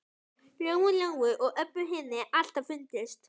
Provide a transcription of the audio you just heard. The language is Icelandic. Lóu Lóu og Öbbu hinni alltaf fundist.